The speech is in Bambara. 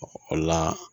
O la